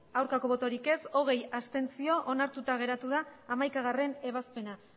bai hogei abstentzio onartuta geratu da hamaikagarrena ebazpena